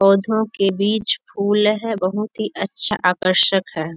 पौधों के बीच फुल है बहुत ही अच्छा आकर्षक है।